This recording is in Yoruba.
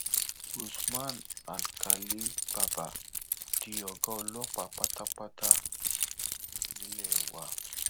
usman alkálì bàbá di ọgá ọlọpàá pátápátá nílé wa